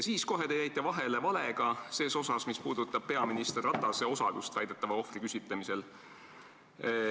Siis jäite te kohe vahele valega, mis puudutas peaminister Ratase osalust väidetava ohvri küsitlemisel.